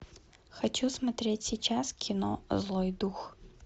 хочу смотреть сейчас кино злой дух